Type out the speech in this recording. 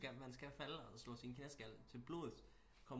Skal man skal falde og små sin knæskald til blods